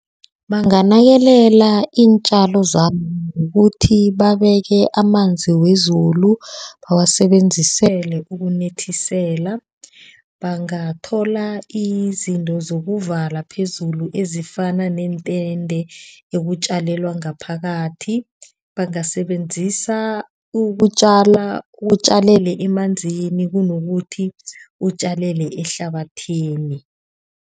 Banganakelela iintjalo zabo ngokuthi babeke amanzi wezulu bawasebenzisele ukunethisela. Bangathola izinto zokuvala phezulu ezifana neentende ekutjalwa ngaphakathi bangasebenzisa ukutjalelwa ngaphakathi. Bangasebenzisa ukutjala utjalele emanzini kunokuthi utjalele ehlabathini.